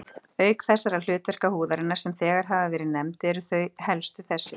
Auk þeirra hlutverka húðarinnar, sem þegar hafa verið nefnd, eru þau helstu þessi